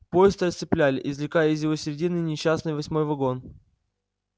поезд расцепляли извлекая из его середины несчастный восьмой вагон